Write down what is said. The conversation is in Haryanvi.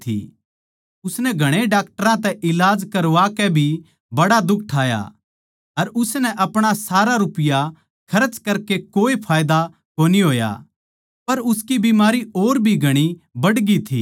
उसनै घणे डाक्टरां तै ईलाज करवा कै भी बड़ा दुख ठाया अर उसनै अपणा सारा रपियाँ खर्च कै भी कोए फायदा कोनी होया पर उसकी बीमारी और भी घणी बढ़गी थी